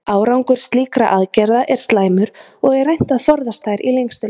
Árangur slíkra aðgerða er slæmur og er reynt að forðast þær í lengstu lög.